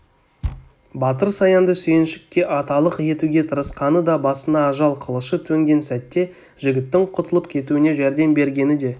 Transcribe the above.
батыр саянды сүйіншікке аталық етуге тырысқаны да басына ажал қылышы төнген сәтте жігіттің құтылып кетуіне жәрдем бергені де